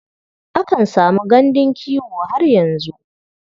Akan samu gandun kiwo har yanzu.